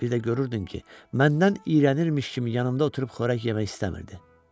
Bir də görürdün ki, məndən iyrənirmiş kimi yanımda oturub qorək yemək istəmirdi.